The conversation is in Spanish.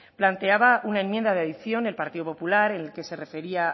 planteaba una enmienda de adición el partido popular en la que se refería